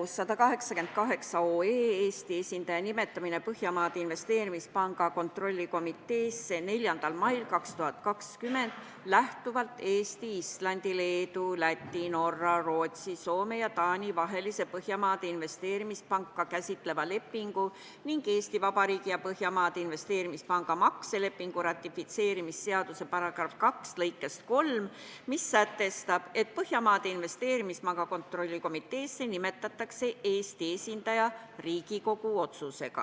otsuse "Eesti esindaja nimetamine Põhjamaade Investeerimispanga kontrollkomiteesse" eelnõu 4. mail 2020 lähtuvalt Eesti, Islandi, Leedu, Läti, Norra, Rootsi, Soome ja Taani vahelise Põhjamaade Investeerimispanka käsitleva lepingu ning Eesti Vabariigi ja Põhjamaade Investeerimispanga makselepingu ratifitseerimise seaduse § 2 lõikest 3, mis sätestab, et Põhjamaade Investeerimispanga kontrollkomiteesse nimetatakse Eesti esindaja Riigikogu otsusega.